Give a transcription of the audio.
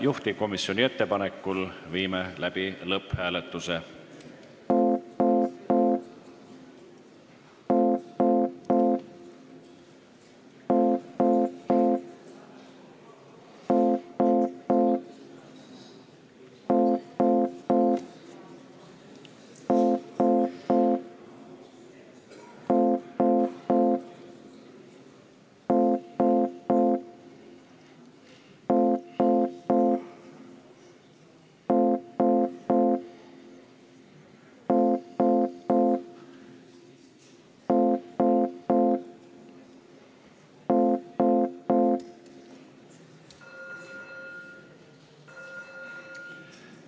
Juhtivkomisjoni ettepanekul viime läbi lõpphääletuse.